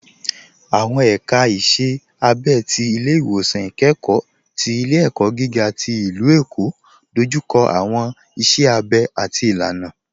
Awọn èka ìṣẹ̀ àbẹ̀ ti Ilẹ̀-iwọsan Ikẹkọ̀ ti Ilẹ̀-ẹ̀kọ́ gíga ti Ilú-Ẹ̀kọ́ dójúkọ̀ awọn ìṣẹ̀ àbẹ̀ àti ìlànà.